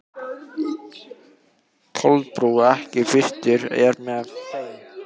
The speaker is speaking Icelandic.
Kolbrún, ekki fórstu með þeim?